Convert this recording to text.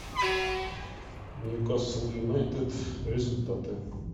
ньюкасл юнайтед результаты